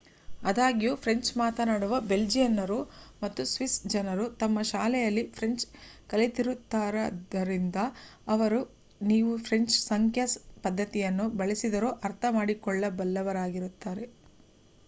ಅದ್ಯಾಗೂ French ಮಾತನಾಡುವ ಬೆಲ್ಜಿಯನ್ನರು ಮತ್ತು ಸ್ವಿಸ್ಸ್ ಜನರು ತಮ್ಮ ಶಾಲೆಗಳಲ್ಲಿ ಫ್ರೆಂಚ್ ಕಲಿತಿರುತ್ತಾರಾದ್ದರಿಂದ ಅವರು ನೀವು ಫ್ರೆಂಚ್ ಸಂಖ್ಯಾ ಪದ್ಧತಿಯನ್ನು ಬಳಸಿದರೂ ಅರ್ಥ ಮಾಡಿಕೊಳ್ಳಬಲ್ಲವರಾಗಿರುತ್ತಾರೆ